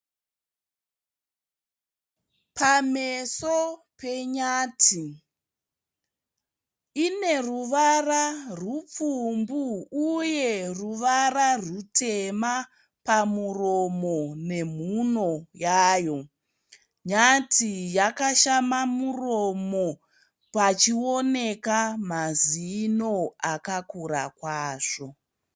Pameso penyati, ine ruvara rupfumbu uye ruvara rutema pamuromo nemhuno yayo. Nyati yakashama muromo pachioneka mazino akakura kwazvo.